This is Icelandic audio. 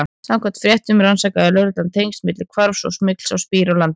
Samkvæmt fréttum rannsakaði lögreglan tengsl milli hvarfsins og smygls á spíra til landsins.